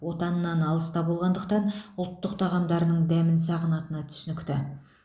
отанынан алыста болғандықтан ұлттық тағамдарының дәмін сағынатыны түсінікті